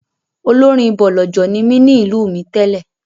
Olórin bọ̀lọ̀jọ̀ ni mí ní ìlú mi tẹ́lẹ̀.